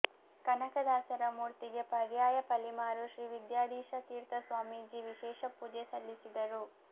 ಕನಕದಾಸರ ಮೂರ್ತಿಗೆ ಪರ್ಯಾಯ ಪಲಿಮಾರು ಶ್ರೀವಿದ್ಯಾಧೀಶತೀರ್ಥ ಸ್ವಾಮೀಜಿ ವಿಶೇಷ ಪೂಜೆ ಸಲ್ಲಿಸಿದರು